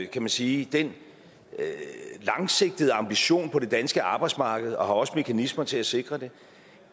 kan man sige den langsigtede ambition på det danske arbejdsmarked og har også mekanismer til at sikre det